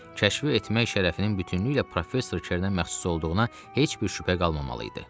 Kəşfi etmək şərəfinin bütünlüklə professor Kernə məxsus olduğuna heç bir şübhə qalmamalı idi.